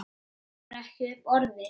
Kemur ekki upp orði.